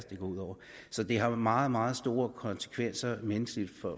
det går ud over så det har meget meget store konsekvenser menneskeligt for